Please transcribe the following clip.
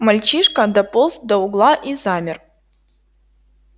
мальчишка дополз до угла и замер